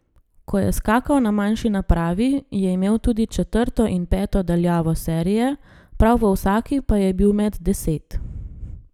Ko je skakal na manjši napravi, je imel tudi četrto in peto daljavo serije, prav v vsaki pa je bil med deset.